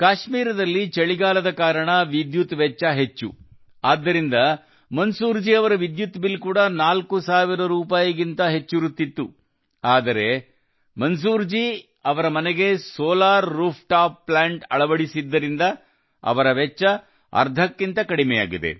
ಕಾಶ್ಮೀರದಲ್ಲಿ ಚಳಿಗಾಲದ ಕಾರಣ ವಿದ್ಯುತ್ ವೆಚ್ಚ ಹೆಚ್ಚು ಇದ್ದುದರಿಂದ ಮಂಜೂರ್ ಜಿ ಅವರ ವಿದ್ಯುತ್ ಬಿಲ್ ಕೂಡ 4 ಸಾವಿರ ರೂಪಾಯಿಗಿಂತ ಹೆಚ್ಚಿರುತ್ತಿತ್ತು ಆದರೆ ಮಂಜೂರ್ ಜಿ ಅವರ ಮನೆಗೆ ಸೋಲಾರ್ ರೂಫ್ಟಾಪ್ ಪ್ಲಾಂಟ್ ಅಳವಡಿಸಿದ್ದರಿಂದ ಅವರ ವೆಚ್ಚ ಅರ್ಧಕ್ಕಿಂತ ಕಡಿಮೆಯಾಗಿದೆ